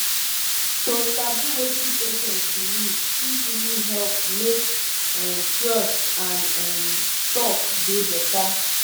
to sabi wetin patient believe fit really help make um trust and um talk dey better